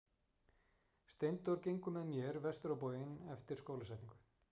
Steindór gengur með mér vestur á bóginn eftir skólasetningu.